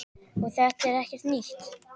Og þetta er ekkert nýtt.